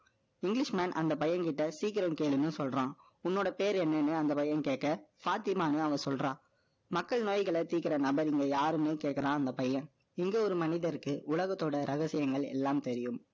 English man, அந்த பையன் கிட்ட, சீக்கிரம் கேளுன்னு சொல்றான் உன்னோட பேர் என்னன்னு, அந்த பையன் கேட்க, ஃபாத்திமான்னு அவ சொல்றான். மக்கள் நோய்களை தீர்க்கிற நபர், இங்க யாருன்னு கேட்கிறான், அந்த பையன். இங்க ஒரு மனிதருக்கு, உலகத்தோட ரகசியங்கள் எல்லாம் தெரியும்.